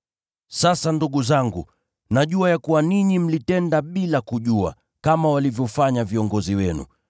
“Sasa ndugu zangu, najua ya kuwa ninyi mlitenda bila kujua, kama walivyofanya viongozi wenu.